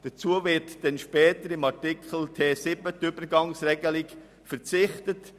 Später, unter Artikel T71, wird auf die Übergangsregelung verzichtet.